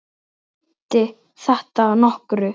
Nú er þeirri bið lokið.